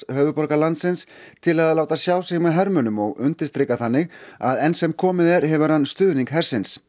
höfuðborgar landsins til að láta sjá sig með hermönnum og undirstrika þannig að enn sem komið er hefur hann stuðning hersins